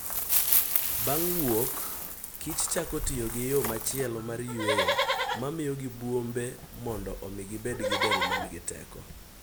Bang' wuok kich chako tiyo gi yo machielo mar yweyo mamiyogi bwombe mondo omi gibed gi del ma nigi teko.